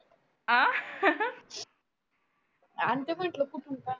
आणते म्हटलं कुठून पण